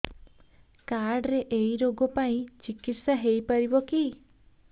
card ରେ ଏଇ ରୋଗ ପାଇଁ ଚିକିତ୍ସା ହେଇପାରିବ କି